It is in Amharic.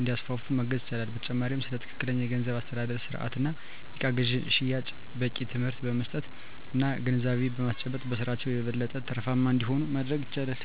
እንዲያስፋፉ ማገዝ ይቻላል። በተጨማሪም ስለ ትክክለኛ የገንዘብ አስተዳደር ስርአት እና የእቃ ግዥና ሽያጭ በቂ ትምህርት በመስጠት እና ግንዛቤ በማስጨበጥ በስራቸው የበለጠ ትርፋማ እንዲሆኑ ማድረግ ይቻላል።